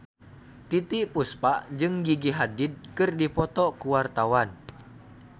Titiek Puspa jeung Gigi Hadid keur dipoto ku wartawan